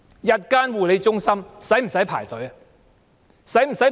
日間護理中心需要輪候嗎？